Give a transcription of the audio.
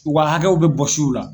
U ka hakɛw bɛ bɔs'u la